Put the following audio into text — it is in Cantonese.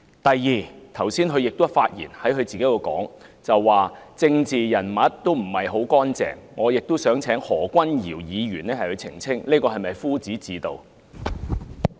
第二，他在剛才的發言中表示，政治人物不是很乾淨，我想請何君堯議員澄清，這是否夫子自道？